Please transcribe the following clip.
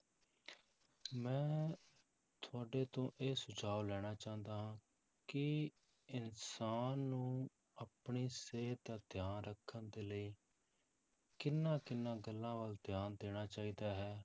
ਮੈਂ ਤੁਹਾਡੇ ਤੋਂ ਇਹ ਸੁਝਾਵ ਲੈਣ ਚਾਹੁੰਦਾ ਹਾਂ ਕਿ ਇਨਸਾਨ ਨੂੰ ਆਪਣੀ ਸਿਹਤ ਦਾ ਧਿਆਨ ਰੱਖਣ ਦੇ ਲਈ ਕਿਹਨਾਂ ਕਿਹਨਾਂ ਗੱਲਾਂ ਵੱਲ ਧਿਆਨ ਦੇਣਾ ਚਾਹੀਦਾ ਹੈ,